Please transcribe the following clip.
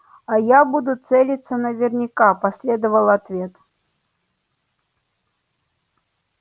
а я буду целиться наверняка последовал ответ